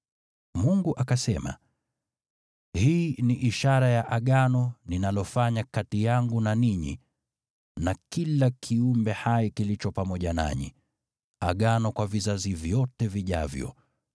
Mungu akasema, “Hii ni ishara ya Agano ninalofanya kati yangu na ninyi na kila kiumbe hai kilicho pamoja nanyi, Agano kwa vizazi vyote vijavyo: